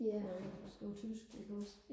og engelsk og tysk iggås